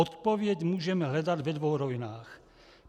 Odpověď můžeme hledat ve dvou rovinách.